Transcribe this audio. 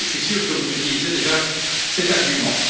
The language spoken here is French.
Et je suis sûr que vous utilisez déjà cet argument.